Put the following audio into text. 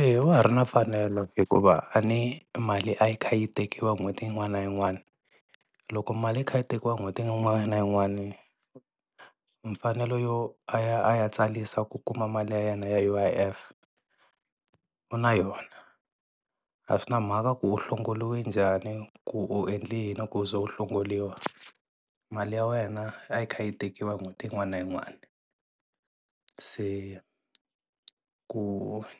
Eya wa ha ri na mfanelo hikuva a ni mali a yi kha yi tekiwa n'hweti yin'wana na yin'wana, loko mali yi kha yi tekiwa n'hweti yin'wana na yin'wana mfanelo yo a ya a ya tsarisa ku kuma mali ya yena ya U_I_F u na yona. A swi na mhaka ku u hlongoriwe njhani ku u endle yini ku u za u hlongoriwa mali ya wena a yi kha yi tekiwa n'hweti yin'wana na yin'wana. Se ku